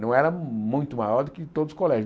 Não era muito maior do que todos os colégios.